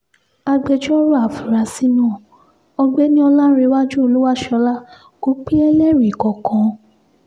agbẹjọ́rò àfúráṣí náà ọ̀gbẹ́ni ọlárẹ̀wájú olúwaṣọ́lá kò pe ẹlẹ́rìí kankan